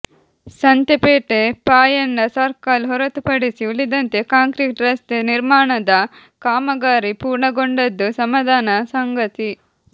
Santhepete Payanna circle ಹೊರತುಪಡಿಸಿ ಉಳಿದಂತೆ concrete ರಸ್ತೆ ನಿರ್ಮಾಣದ ಕಾಮಗಾರಿ ಪೂರ್ಣಗೊಂಡದ್ದು ಸಮಾಧಾನದ ಸಂಗತಿ